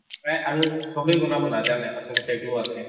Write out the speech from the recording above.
এহ আৰু চবে ননাব নাজানে আচলতে এইটো আছে